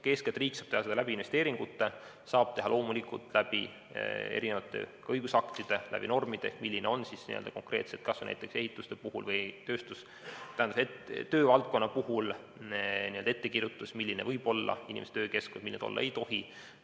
Eeskätt saab riik seda teha investeeringutega, saab teha loomulikult erinevate õigusaktide, normide abil, et milline on konkreetselt kas või näiteks ehituste või üldse töövaldkonna puhul ettekirjutus, milline võib olla töökeskkond ja milline ta olla ei tohi.